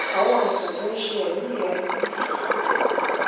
àwọn àìsàn tó ń ṣe ẹmí ẹ ẹ ń fà á